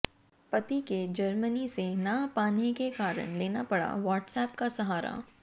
पति के जर्मनी से ना पाने के कारण लेना पड़ा व्हाट्सएप का सहारा